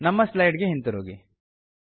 ನಮ್ಮ ಸ್ಲೈಡ್ ಗೆ ಹಿಂತಿರುಗಿ